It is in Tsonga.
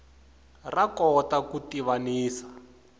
ra kota ku tivanisa